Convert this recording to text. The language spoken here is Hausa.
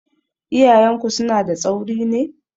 Iyayenku suna da tsauri ne?